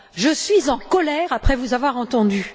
Je suis en colère, après vous avoir entendue.